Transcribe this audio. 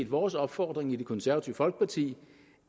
vores opfordring i det konservative folkeparti